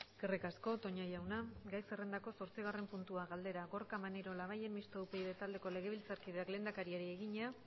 eskerrik asko toña jauna gai zerrendako zortzigarren puntua galdera gorka maneiro labayen mistoa upyd taldeko legebiltzarkideak lehendakariari egina